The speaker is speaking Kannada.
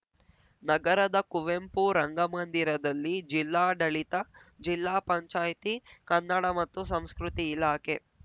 ನಗರದ ಕುವೆಂಪು ರಂಗಮಂದಿರದಲ್ಲಿ ಜಿಲ್ಲಾಡಳಿತ ಜಿಲ್ಲಾ ಪಂಚಾಯಿತಿ ಕನ್ನಡ ಮತ್ತು ಸಂಸ್ಕೃತಿ ಇಲಾಖೆ